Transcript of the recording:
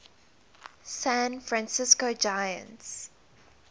san francisco giants